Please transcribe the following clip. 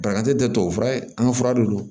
Banakun tɛ tubabu fura ye an ka fura de don